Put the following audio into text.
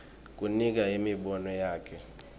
kunika imibono yakhe